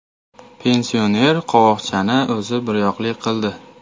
Pensioner qovoqchani o‘zi biryoqli qildi.